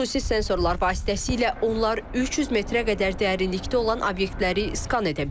Xüsusi sensorlar vasitəsilə onlar 300 metrə qədər dərinlikdə olan obyektləri skan edə bilir.